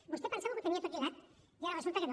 vostè pensava que ho tenia tot lligat i ara resulta que no